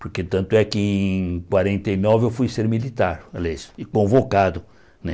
Porque tanto é que em quarenta e nove eu fui ser militar, olha isso e convocado, né?